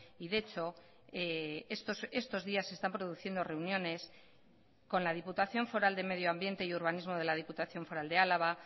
y de hecho estos días se están produciendo reuniones con la diputación foral de medio ambiente y urbanismo de la diputación foral de álava